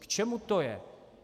K čemu to je?